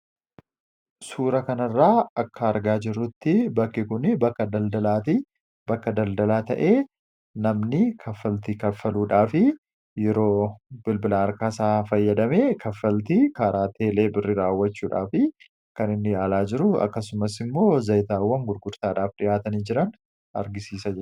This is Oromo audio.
suura kanirraa akka argaa jirutti bakkigunii bakka daldalaatii bakka daldalaa ta'ee namni kaffalti kaffaluudhaafi yeroo bilbila arkaaisaa fayyadame kaffalti karaa teelee birri raawwachuudhaaf kan inni yaalaa jiru akkasumas immoo zayitaawwan gurgurtaadhaaf dhi'aatanii jiran argisiisa